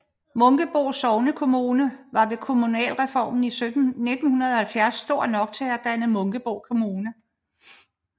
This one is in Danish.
Munkebo sognekommune var ved kommunalreformen i 1970 stor nok til selv at danne Munkebo Kommune